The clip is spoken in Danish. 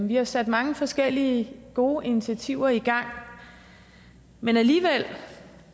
vi har sat mange forskellige gode initiativer i gang men alligevel